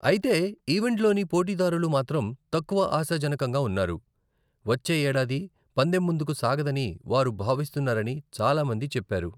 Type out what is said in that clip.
అయితే, ఈవెంట్లోని పోటీదారులు మాత్రం తక్కువ ఆశాజనకంగా ఉన్నారు, వచ్చే ఏడాది పందెం ముందుకు సాగదని వారు భావిస్తున్నారని చాలా మంది చెప్పారు.